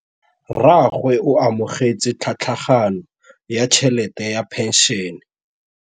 Rragwe o amogetse tlhatlhaganyô ya tšhelête ya phenšene.